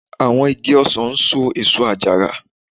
Àwọn igi ọsàn ń so èso àjàrà